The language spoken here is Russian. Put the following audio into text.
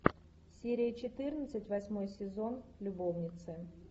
серия четырнадцать восьмой сезон любовницы